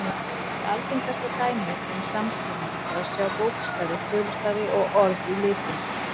Eitt algengasta dæmið um samskynjun er að sjá bókstafi, tölustafi og orð í litum.